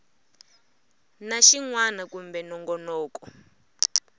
na xin wana kumbe nongonoko